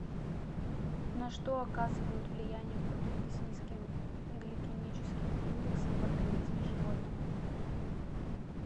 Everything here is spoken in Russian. на что оказывают влияние продукты с низким гликемическим индексом в организме животного